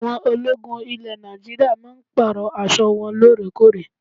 Àwọn ológun ilẹ̀ Nàìjíríà máa ń Pààrọ̀ aṣọ wọn lóorekóòrè